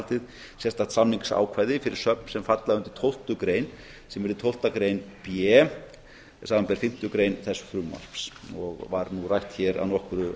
haldið sérstakt samningsákvæði fyrir söfn sem falla undir tólftu grein sem yrði tólfta grein b samanber fimmtu grein þess frumvarps og var nú rætt hér að nokkru